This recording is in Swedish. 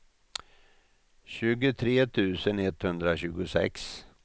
tjugotre tusen etthundratjugosex